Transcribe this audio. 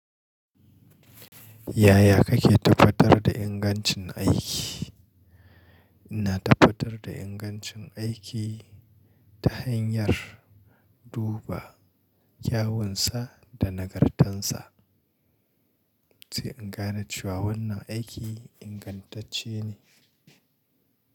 Yaya kake tabbatar da ingancin aiki? Ina tafatar da ingancin aiki ta hanyar duba kyawunsa da nagartansa, sai in gane cewa wannan aiki ingantacce ne.